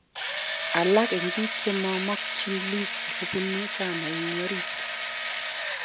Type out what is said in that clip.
Alaak eng biik chemamakchin Lissu kobunu chamainyi orit